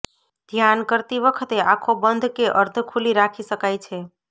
ધ્યાન કરતી વખતે આંખો બંધ કે અર્ધખૂલી રાખી શકાય છે